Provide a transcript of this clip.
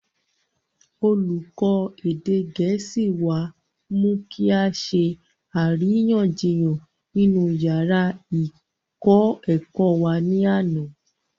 olùkọ́ èdè gẹ̀ẹ́sì wá mú kí á ṣe àríyànjiyàn nínú yàrá ìkọ́-ẹ̀kọ́ wa ní àná